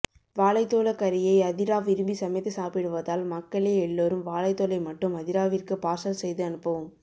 வாழைத்தோல கறியை அதிரா விரும்பி சமைத்து சாப்பிடுவதால் மக்கலே எல்லோரும் வாழைத்தோலை மட்டும் அதிராவிற்கு பார்சல் செய்து அனுப்பவும்